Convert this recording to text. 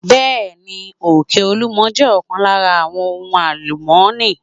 Bẹẹni, Òkè olúmo jẹ́ ọ̀kan lára àwọn ohun àlùmọ́ni.